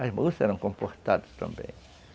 As moças eram comportadas também.